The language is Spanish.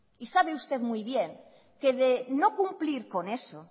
y sabe usted muy bien que de no cumplir con eso